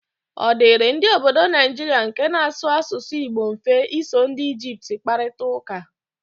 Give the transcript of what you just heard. Ọ dịịrị ndị ọbọdọ Naijiria nke na-asụ asụsụ Igbo mfe iso ndị Ijipt kparịta ụka?